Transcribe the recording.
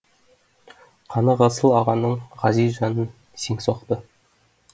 қаны ғасыл ағаның ғазиз жанын сең соқты